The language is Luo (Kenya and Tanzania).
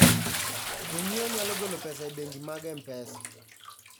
Jonyiewo nyalo golo pesa e bengi mag M-Pesa.